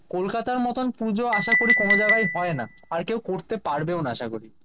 কলকাতার মতন পুজো আশাকরি কোন জায়গায় হয় না। আর কেউ করতে পারবেও না আশা করি।